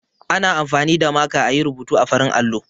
Ana amfani da maka a yi rubutu a farin allo.